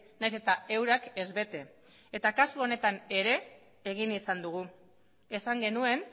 nahiz eta eurak ez bete kasu honetan ere egin izan dugu esan genuen